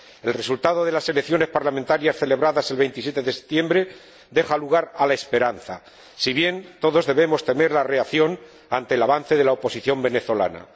El resultado de las elecciones parlamentarias celebradas el 27 de septiembre deja lugar a la esperanza, si bien todos debemos temer la reacción ante el avance de la oposición venezolana.